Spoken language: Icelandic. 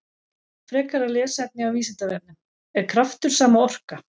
Frekara lesefni á Vísindavefnum: Er kraftur sama og orka?